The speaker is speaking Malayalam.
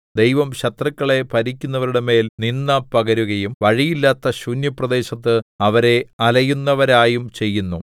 ദൈവം ശത്രുക്കളെ ഭരിക്കുന്നവരുടെ മേൽ നിന്ദ പകരുകയും വഴിയില്ലാത്ത ശൂന്യപ്രദേശത്ത് അവരെ അലയുന്നവരായും ചെയ്യുന്നു